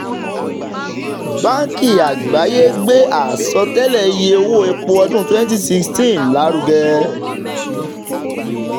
báńkì àgbáyé gbé àsọtẹ́lẹ̀ iye owó epo ọdún twenty sixteen lárugẹ